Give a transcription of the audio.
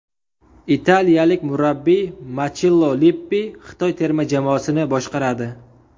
Italiyalik murabbiy Machello Lippi Xitoy terma jamoasini boshqaradi.